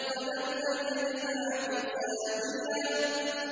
وَلَمْ أَدْرِ مَا حِسَابِيَهْ